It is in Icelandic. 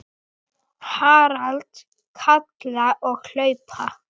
Til að taka þátt